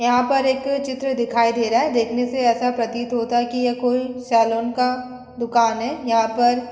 यहां पर एक चित्र दिखाई दे रहा है। देखने से ऐसा प्रतीत होता है कि यह कोई सलून का दुकान है। यहां पर